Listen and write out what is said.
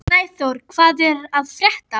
Snæþór, hvað er að frétta?